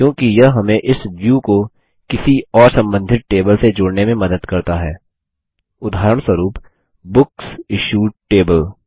क्योंकि यह हमें इस व्यू को किसी और सम्बन्धित टेबल से जोड़ने में मदद करता हैउदाहरणस्वरुप बुकसिश्यूड टेबल